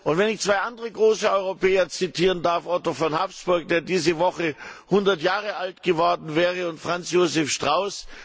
Und wenn ich zwei andere große Europäer zitieren darf Otto von Habsburg, der diese Woche hundert Jahre alt geworden wäre, und Franz Josef Strauß.